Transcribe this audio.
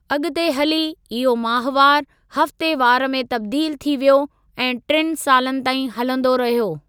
अॻिते हली, इहो माहवार, हफ्तेवार में तब्दील थी वियो ऐं टिनि सालनि ताईं हलंदो रहियो।